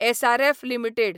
SRF limited